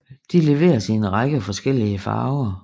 De leveres i en række forskellige farver